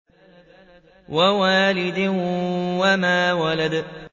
وَوَالِدٍ وَمَا وَلَدَ